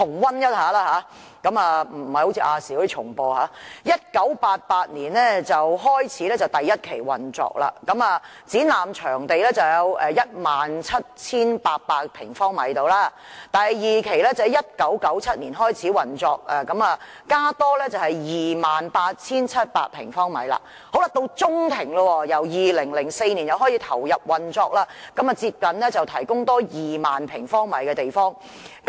會展在1988年開始第一期運作，展覽場地約 17,800 平方米。第二期運作在1997年開始，增加了 28,700 平方米。中庭部分由2004年開始投入運作，多提供接近2萬平方米的空間。